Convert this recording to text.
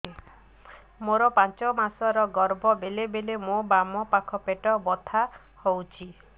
ମୋର ପାଞ୍ଚ ମାସ ର ଗର୍ଭ ବେଳେ ବେଳେ ମୋ ବାମ ପାଖ ପେଟ ବଥା ହଉଛି